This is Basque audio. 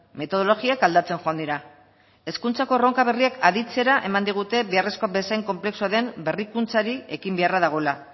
metodologiak aldatzen joan dira hezkuntzako erronka berriak aditzera eman digute beharrezko bezain konplexua den berrikuntzari ekin beharra dagoela